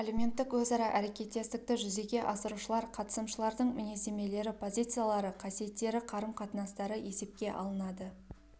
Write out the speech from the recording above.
әлеуметтік өзара әрекеттестікті жүзеге асырушылар қатысымшылардың мінездемелері позициялары қасиеттері қарым-қатынастары есепке алынады